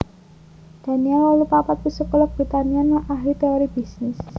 Daniel wolu papat psikolog Britania lan ahli téori bisnis